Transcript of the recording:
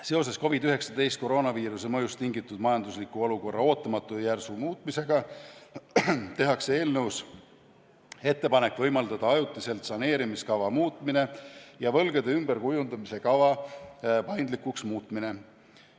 Seoses COVID-19 ja koroonaviiruse mõjust tingitud majandusliku olukorra ootamatu ja järsu muutmisega tehakse eelnõus ettepanek võimaldada ajutiselt saneerimiskava muutmine ja võlgade ümberkujundamise kava paindlikuks muutmine.